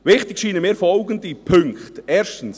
Wichtig scheinen mir folgende Punkte – erstens: